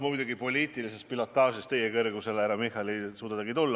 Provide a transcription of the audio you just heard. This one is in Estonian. Ma muidugi poliitilises pilotaažis teiega võrdsele kõrgusele, härra Michal, ei suuda tulla.